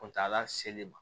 kɔntola sele ma